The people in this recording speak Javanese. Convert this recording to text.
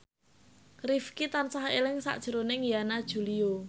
Rifqi tansah eling sakjroning Yana Julio